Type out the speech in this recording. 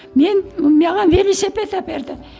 мен маған велосипед әперді